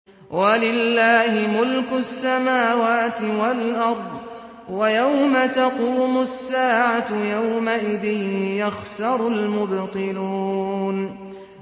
وَلِلَّهِ مُلْكُ السَّمَاوَاتِ وَالْأَرْضِ ۚ وَيَوْمَ تَقُومُ السَّاعَةُ يَوْمَئِذٍ يَخْسَرُ الْمُبْطِلُونَ